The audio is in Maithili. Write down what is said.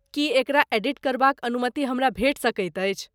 की एकरा एडिट करबाक अनुमति हमरा भेटि सकैत अछि?